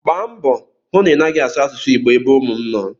Gbaa mbọ hụ na ị naghị asụ asụsụ Igbo ebe ụmụ m nọ!